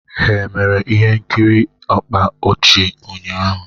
Ha emere ihe nkiri na-akpa ọchị ụnyaahụ?